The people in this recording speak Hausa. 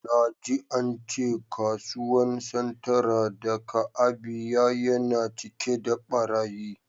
Na ji cewa kasuwan Centra da ka Abia yana cike da barayi.